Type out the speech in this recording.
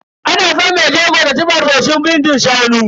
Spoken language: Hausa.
Ana san mai jego ta ci farfesun bindin shanu.